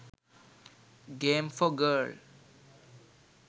game for girl